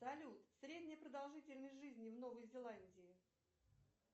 салют средняя продолжительность жизни в новой зеландии